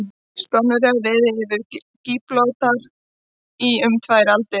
Spánverjar réðu yfir Gíbraltar í um tvær aldir.